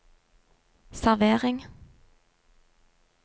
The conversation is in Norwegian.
servering